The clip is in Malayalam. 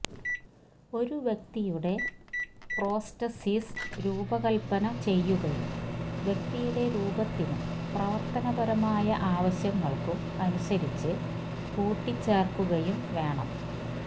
ഒരു വ്യക്തിയുടെ പ്രോസ്റ്റസിസ് രൂപകൽപ്പന ചെയ്യുകയും വ്യക്തിയുടെ രൂപത്തിനും പ്രവർത്തനപരമായ ആവശ്യങ്ങൾക്കും അനുസരിച്ച് കൂട്ടിച്ചേർക്കുകയും വേണം